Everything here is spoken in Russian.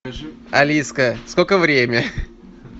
алиска сколько время